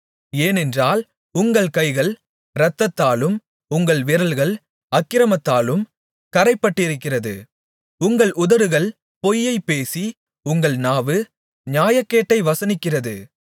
ஏனென்றால் உங்கள் கைகள் இரத்தத்தாலும் உங்கள் விரல்கள் அக்கிரமத்தாலும் கறைப்பட்டிருக்கிறது உங்கள் உதடுகள் பொய்யைப் பேசி உங்கள் நாவு நியாயக்கேட்டை வசனிக்கிறது